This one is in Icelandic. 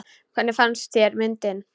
Hvernig fannst þér myndin?